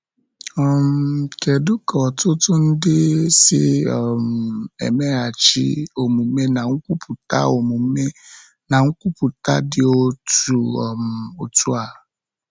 um Kedu ka ọtụtụ ndị si um emeghachi omume na nkwupụta omume na nkwupụta dị otu um a?